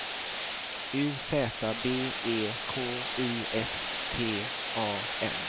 U Z B E K I S T A N